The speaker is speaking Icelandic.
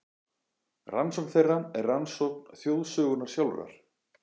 Rannsókn þeirra er rannsókn þjóðarsögunnar sjálfrar.